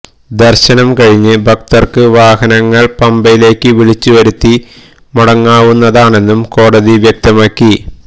ദര്ശനം കഴിഞ്ഞ് ഭക്തര്ക്ക് വാഹനങ്ങള് പമ്പയിലേക്ക് വിളിച്ചുവരുത്തി മടങ്ങാവുന്നതാണെന്നും കോടതി വ്യക്തമാക്കി